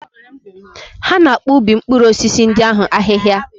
Ha na-akpụ ubi mkpụrụ osisi ndị ahụ ahịhia.